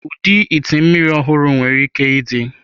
Ụdị ite mmiri ọhụrụ nwere ike ịdị.